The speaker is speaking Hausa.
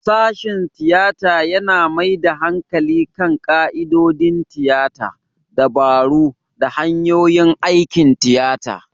Sashen tiyata yana mai da hankali kan ƙa'idodin tiyata, dabaru, da hanyoyin aikin tiyata.